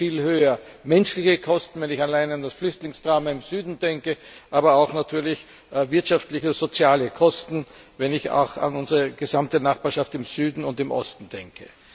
Dann wären sie viel höher menschliche Kosten, wenn ich allein an das Flüchtlingsdrama im Süden denke, aber natürlich auch wirtschaftliche und soziale Kosten, wenn ich an unsere gesamte Nachbarschaft im Süden und im Osten denke.